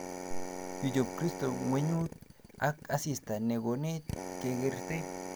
Kichop kristo ngwenyut ak asista ne konech kekerte